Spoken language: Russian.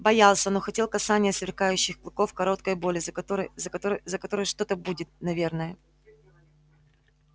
боялся но хотел касания сверкающих клыков короткой боли за которой за которой за которой что-то будет наверное